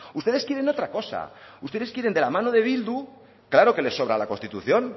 ustedes quieren otra cosa ustedes quieren de la mano de bildu claro que les sobra la constitución